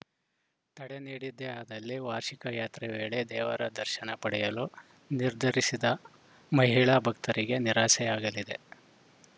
ತಡೆ ನೀಡಿದ್ದೇ ಆದಲ್ಲಿ ವಾರ್ಷಿಕ ಯಾತ್ರೆ ವೇಳೆ ದೇವರ ದರ್ಶನ ಪಡೆಯಲು ನಿರ್ಧರಿಸಿದ್ದ ಮಹಿಳಾ ಭಕ್ತರಿಗೆ ನಿರಾಸೆಯಾಗಲಿದೆ